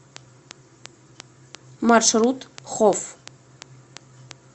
маршрут хоф